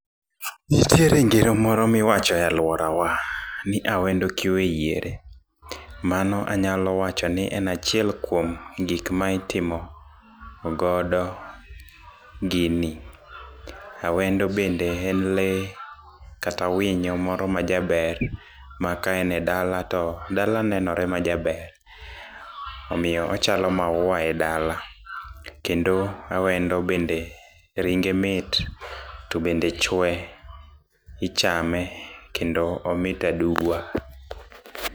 Nitiere ngero moro ma iwacho e alworawa ni awendo kiwe yiere. Mano anyalo wacho ni en achiel kuom gik ma itimo godo gini. Awendo bende en lee kata winyo moro majaber, maka en e dala to dala nenore majaber omiyo ochalo maua e dala. Kendo awendo bende ringe mit to bende chwe, ichame, kendo omit aduwa.